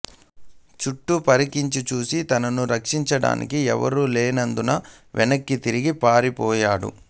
చుట్టూ పరికించి చూసి తనను రక్షించడానికి ఎవరూ లేనందున వెనక్కి తిరిగి పారి పోసాగాడు